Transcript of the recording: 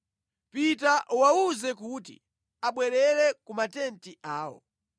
“Pita uwawuze kuti abwerere ku matenti awo.